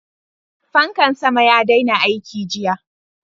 Fankan sama ya daina aiki jiya.